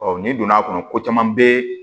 n'i donn'a kɔnɔ ko caman be